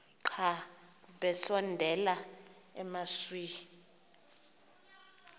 xa besondela emasuie